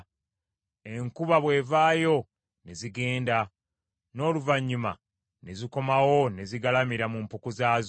Enjuba bw’evaayo ne zigenda, n’oluvannyuma ne zikomawo ne zigalamira mu mpuku zaazo.